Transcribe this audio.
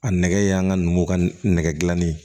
A nɛgɛ y'an ka numuw ka nɛgɛ dilanni ye